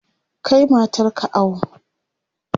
Kai matar ka awo!